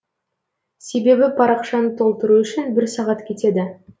себебі парақшаны толтыру үшін бір сағат кетеді